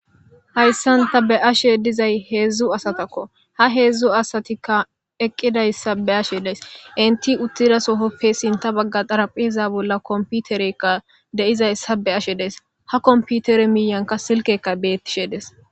Hayssan ta be'ashe dizayssa heedzdzu asatako ha heedzdzu asatikka eqqidayssa be'ashe days entti uttida sohoppe sinththa bagga xarapheza bolla komputereyka de'izayssa be'ashe days ha komputere miyankka silkkeykka beetishe dees.